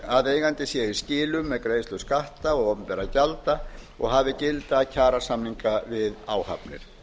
að hlutaðeigandi sé í skilum með greiðslu skatta og opinberra gjalda og hafi gilda kjarasamninga við áhafnir